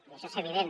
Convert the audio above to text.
i això és evident